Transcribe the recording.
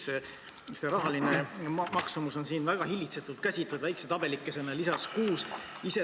Selle rahaline maksumus on siin väga hillitsetult käsitletud väikse tabelikesena lisas 6.